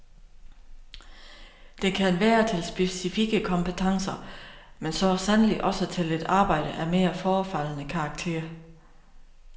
Det kan være til specifikke kompetencer, men så sandelig også til et arbejde af mere forefaldende karakter.